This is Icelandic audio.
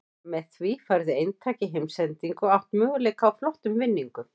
Með því færðu eintak í heimsendingu og átt möguleika á flottum vinningum.